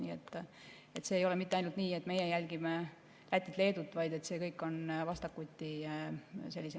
Nii et see ei ole mitte ainult nii, et meie jälgime Lätit-Leedut, vaid see kõik on vastastikune.